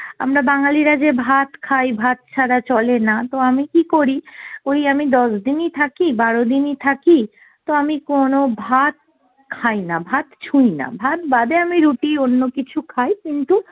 আমরা বাঙ্গালিরা যে ভাত খাই, ভাত ছাড়া চলে না, তো আমি কি করি ওই আমি দশ দিনই থাকি, বারো দিনই থাকি তো আমি কোনো ভাত খাইনা, ভাত ছুইনা, ভাত বাদে আমি রুটি অন্যকিছু খাই কিন্তু